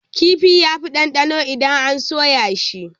Kifi yafi ɗanɗano idan an soya shi.